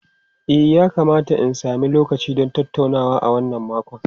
E, yakamata in sami lokaci don tattaunawa a wannan makon.